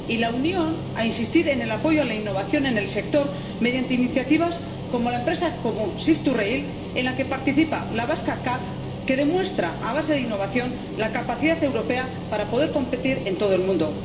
Y la Unión, a insistir en el apoyo a la innovación en el sector mediante iniciativas como la Empresa Común Shift2Rail, en la que participa la vasca CAF, que demuestra, a base de innovación, la capacidad europea para poder competir en todo el mundo.